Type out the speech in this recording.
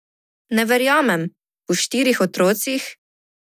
Ne verjamem, po štirih otrocih.